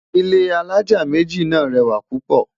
ilé alájá méjì nà rẹwa púpò